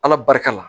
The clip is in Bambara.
Ala barika la